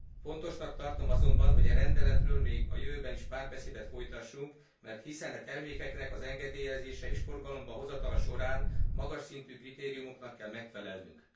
Fontosnak tartom azonban, hogy e rendeletről még a jövőben is párbeszédet folytassunk, mert hiszen e termékeknek az engedélyezése és forgalomba hozatala során magas szintű kritériumoknak kell megfelelnünk.